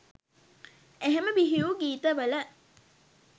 එහෙම බිහිවූ ගීත වල